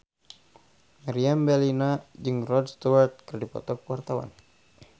Meriam Bellina jeung Rod Stewart keur dipoto ku wartawan